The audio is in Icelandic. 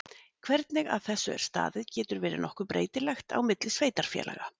Hvernig að þessu er staðið getur verið nokkuð breytilegt á milli sveitarfélaga.